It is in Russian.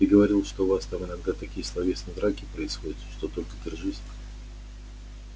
ты говорил что у вас там иногда такие словесные драки происходят что только держись